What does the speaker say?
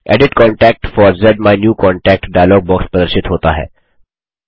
edit contact for ज़्माइन्यूकॉन्टैक्ट dialog box प्रदर्शित होता है